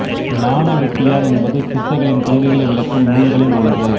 ஞான வெட்டியான் என்பது சித்தர்களின் கொள்கைகளை விளக்கும் நூல்களுள் ஒன்று